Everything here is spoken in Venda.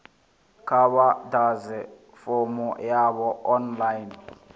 kha vha ḓadze fomo yavho online